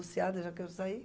eu já quero sair.